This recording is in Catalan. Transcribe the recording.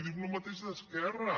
dic el mateix a esquerra